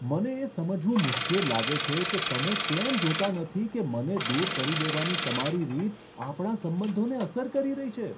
મને એ સમજવું મુશ્કેલ લાગે છે કે તમે કેમ જોતા નથી કે મને દૂર કરી દેવાની તમારી રીત, આપણા સંબંધોને અસર કરી રહી છે.